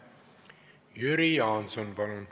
Jüri Jaanson, palun!